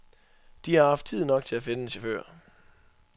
De har haft tid nok til til at finde chauffører.